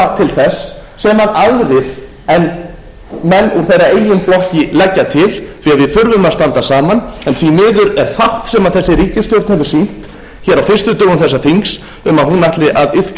til þess sem aðrir en menn úr þeirra eigin flokkum leggja til því að við þurfum að standa saman en því miður er fátt sem þessi ríkisstjórn hefur